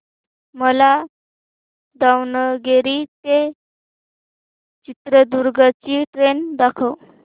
मला दावणगेरे ते चित्रदुर्ग ची ट्रेन दाखव